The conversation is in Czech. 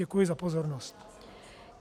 Děkuji za pozornost.